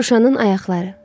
Şuşanın ayaqları.